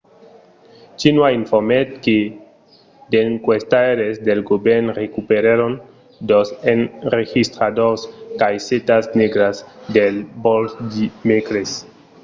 xinhua informèt que d’enquestaires del govèrn recuperèron dos enregistradors 'caissetas negras' de vòl dimècres